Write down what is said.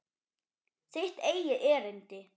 Þitt eigið erindi.